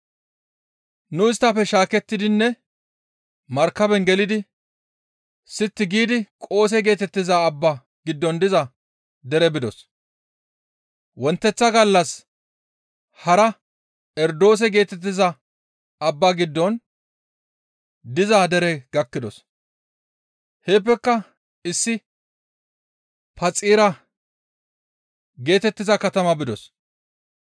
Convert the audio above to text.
Nu isttafe shaakettidinne markaben gelidi sitti giidi Qoose geetettiza abbaa giddon diza dere bidos; wonteththa gallas hara Erodoose geetettiza abba giddon diza dere gakkidos; heeppeka issi Phaxira geetettiza katama bidos.